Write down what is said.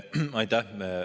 Aitäh!